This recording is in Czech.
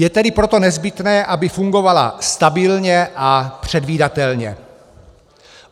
Je tedy proto nezbytné, aby fungovala stabilně a předvídatelně.